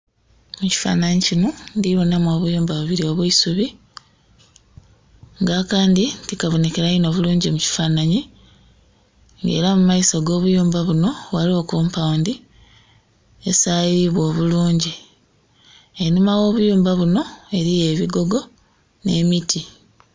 mu kifanhanhi kinho ndhinhamu obuyumba bubiri obwaisubi, nga akandhi tikabonhekera bulungi mu kifanhanhi, nga era mu maiso g'obuyumba bunho ghaligho compound esayibwa obulungi, einhuma gh'obuyumba bunho eriyo obugogo, n'emiti.